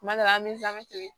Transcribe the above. Kuma dɔ la an bɛ n'an bɛ feere